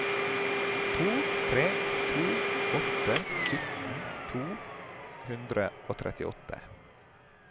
to tre to åtte sytten to hundre og trettiåtte